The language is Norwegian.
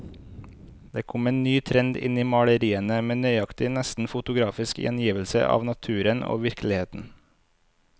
Det kom en ny trend inn i maleriene, med nøyaktig, nesten fotografisk gjengivelse av naturen og virkeligheten.